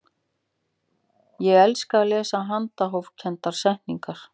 ég elska að lesa handahófskendar settningar